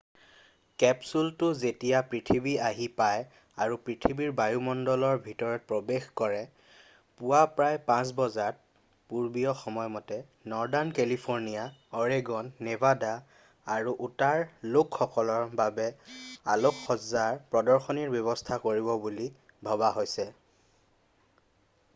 কেপচুলটো যেতিয়া পৃথিৱী আহি পায় আৰু পৃথিৱীৰ বায়ুমণ্ডলৰ ভিতৰত প্ৰৱেশ কৰে পুৱা প্ৰায় ৫ বজাত পূৰ্বীয় সময়মতে নৰ্দাৰ্ণ কেলিফৰ্ণিয়া অৰেগন নেভাডা আৰু উটাৰ লোকসকলৰ বাবে আলোকসজ্জাৰ প্ৰদৰ্শনীৰ ব্যৱস্থা কৰিব বুলি ভবা হৈছে।